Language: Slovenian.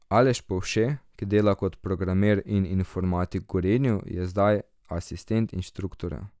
Aleš Povše, ki dela kot programer in informatik v Gorenju, je za zdaj asistent inštruktorja.